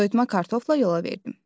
Soyutma kartofla yola verdim.